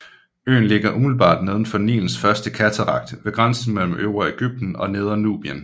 Øen ligger umiddelbart nedenfor Nilens første katarakt ved grænsen mellem Øvre Egypten og Nedre Nubien